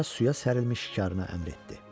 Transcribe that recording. Qoca suya sərilmiş şikarına əmr etdi.